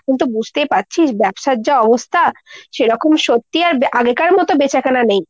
এখন তো বুঝতেই পারছিস ব্যবসার যা অবস্থা সেরকম সত্যি আর আগেকার মতো বেচাকেনা নেই।